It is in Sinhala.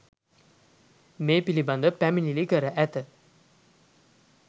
මේ පිළිබඳව පැමිණිලි කර ඇත